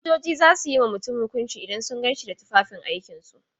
Sojoji za su yi ma mutum hukunci idan sun gan shi da tufafin aikin su.